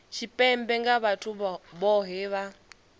tshipembe nga vhathu vhohe vha